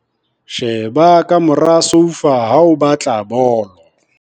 Sheba ka mora soufa ha o batla bolo.